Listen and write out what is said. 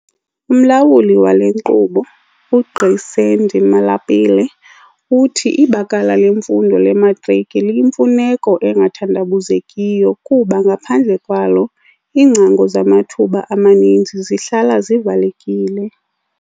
UMlawuli wale nkqubo, uGqi Sandy Malapile, uthi ibakala lemfundo lematriki liyimfuneko engathandabuzekiyo kuba ngaphandle kwalo, iingcango zamathuba amaninzi zihlala zivalekile.